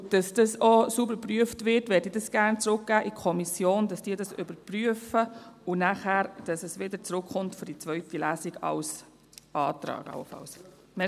Damit das auch sauber geprüft wird, würde ich das gerne in die Kommission zurückgeben, damit diese das überprüft und damit es nachher wieder zurückkommt für die zweite Lesung, allenfalls als Antrag.